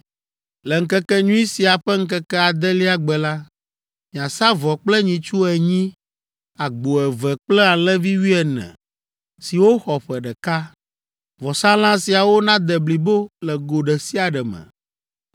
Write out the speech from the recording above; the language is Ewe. “Le Ŋkekenyui sia ƒe ŋkeke adelia gbe la, miasa vɔ kple nyitsu enyi, agbo eve kple alẽvi wuiene siwo xɔ ƒe ɖeka. Vɔsalã siawo nade blibo le go ɖe sia ɖe me.